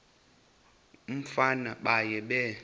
umfana baye bee